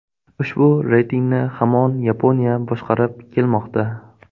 Ushbu reytingni hamon Yaponiya boshqarib kelmoqda.